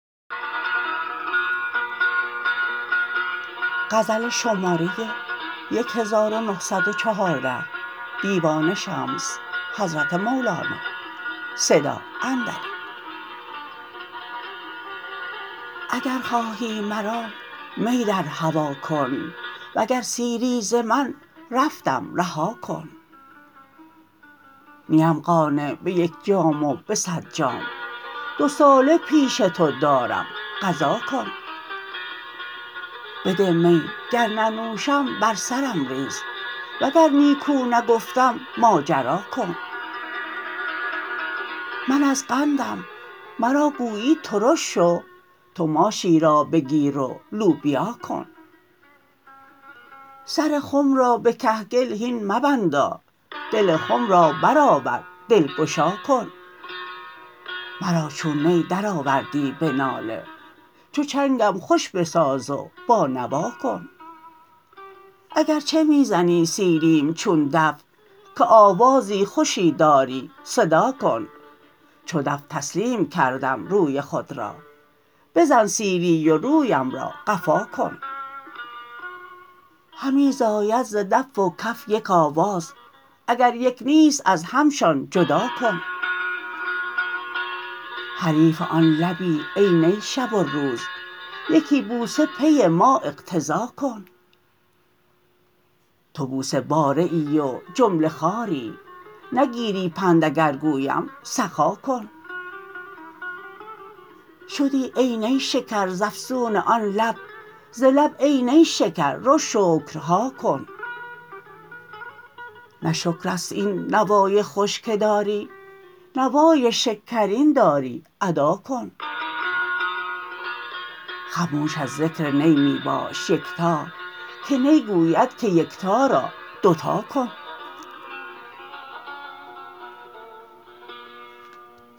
اگر خواهی مرا می در هوا کن وگر سیری ز من رفتم رها کن نیم قانع به یک جام و به صد جام دوساله پیش تو دارم قضا کن بده می گر ننوشم بر سرم ریز وگر نیکو نگفتم ماجرا کن من از قندم مرا گویی ترش شو تو ماشی را بگیر و لوبیا کن سر خم را به کهگل هین مبندا دل خم را برآور دلگشا کن مرا چون نی درآوردی به ناله چو چنگم خوش بساز و بانوا کن اگر چه می زنی سیلیم چون دف که آوازی خوشی داری صدا کن چو دف تسلیم کردم روی خود را بزن سیلی و رویم را قفا کن همی زاید ز دف و کف یک آواز اگر یک نیست از همشان جدا کن حریف آن لبی ای نی شب و روز یکی بوسه پی ما اقتضا کن تو بوسه باره ای و جمله خواری نگیری پند اگر گویم سخا کن شدی ای نی شکر ز افسون آن لب ز لب ای نیشکر رو شکرها کن نه شکر است این نوای خوش که داری نوای شکرین داری ادا کن خموش از ذکر نی می باش یکتا که نی گوید که یکتا را دو تا کن